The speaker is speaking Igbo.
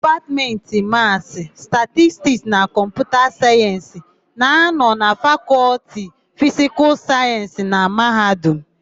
Dipatmentị Masị, Statistik na Kọmputa Sayensị na -anọ na Fakọlti Fisikal Sayensị na Mahadum.